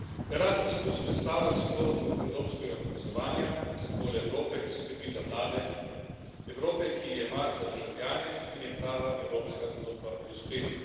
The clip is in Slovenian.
Erasmus predstavlja simbol evropskega povezovanja, simbol Evrope, ki skrbi za mlade, Evrope, ki ji je mar za državljane in je prava evropska zgodba o uspehu.